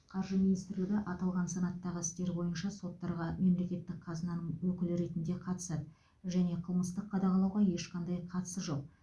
қаржы министрлігі аталған санаттағы істер бойынша соттарға мемлекеттік қазынаның өкілі ретінде қатысады және қылмыстық қудалауға ешқандай қатысы жоқ